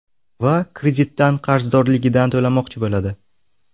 Va kreditdan qarzdorligidan to‘lamoqchi bo‘ladi.